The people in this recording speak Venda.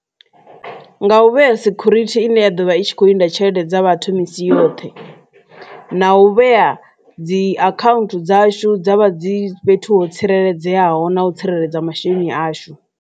Nga u vhea sikhurithi ine ya ḓovha i tshi kho linda tshelede dza vhathu misi yoṱhe na u vhea dzi account dzashu dza vha dzi fhethu ho tsireledzeaho na u tsireledza masheleni ashu.